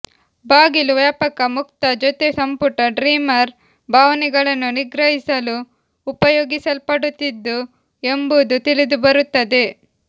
ಬಾಗಿಲು ವ್ಯಾಪಕ ಮುಕ್ತ ಜೊತೆ ಸಂಪುಟ ಡ್ರೀಮರ್ ಭಾವನೆಗಳನ್ನು ನಿಗ್ರಹಿಸಲು ಉಪಯೋಗಿಸಲ್ಪಡುತ್ತಿತ್ತು ಎಂಬುದು ತಿಳಿದುಬರುತ್ತದೆ